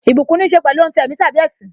Ìbùkún níse pẹ̀lú ohun ti ẹ̀mí tàbí ẹṣin.